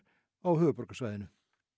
á höfuðborgarsvæðinu